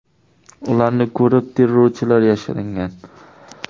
Ularni ko‘rib, terrorchilar yashiringan.